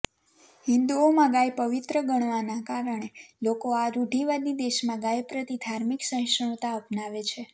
હિંદુઓમાં ગાય પવિત્ર ગણાવવાના કારણે લોકો આ રૂઢીવાદી દેશમાં ગાય પ્રતિ ધાર્મિક સહિષ્ણુતા અપનાવે છે